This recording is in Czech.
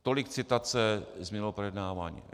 Tolik citace z minulého projednávání.